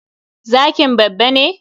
Zkin babba ne?